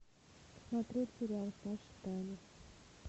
смотреть сериал саша таня